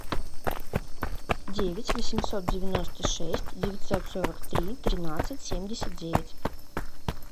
девять восемьсот девяносто шесть девятьсот сорок три тринадцать семьдесят девять